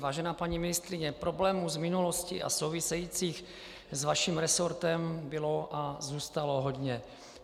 Vážená paní ministryně, problémů z minulosti a souvisejících s vaším resortem bylo a zůstalo hodně.